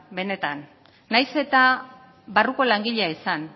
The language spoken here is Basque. benetan nahiz eta barruko langilea izan